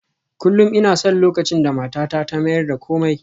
Kullum ina son lokacin da matata ta mayar da komai